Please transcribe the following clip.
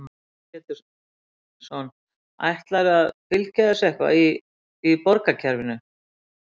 Heimir Már Pétursson: Ætlarðu að, að fylgja þessu eitthvað í, í borgarkerfinu?